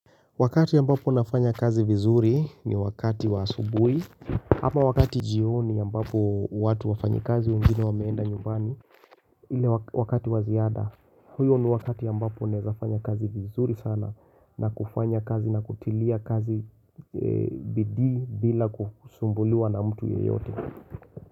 Wakati ambapo nafanya kazi vizuri ni wakati wa asubui ama wakati jioni ambapo watu wafanyi kazi wengine wameenda nyumbani ile wakati waziada Huyo ni wakati ambapo nafanya kazi vizuri sana na kufanya kazi na kutilia kazi bidi bila kusumbuliwa na mtu yeyote.